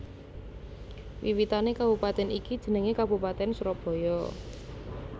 Wiwitané kabupatèn ini jenengé Kabupatèn Surabaya